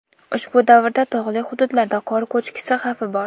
Ushbu davrda tog‘li hududlarda qor ko‘chishi xavfi bor.